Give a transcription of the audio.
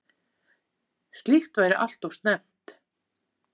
Slíkt væri alltof snemmt